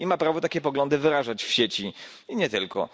I ma prawo takie poglądy wyrażać w sieci i nie tylko.